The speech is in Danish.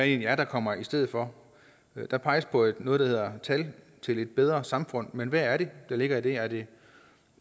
egentlig er der kommer i stedet for der peges på noget der hedder tal til et bedre samfund men hvad er det der ligger i det er det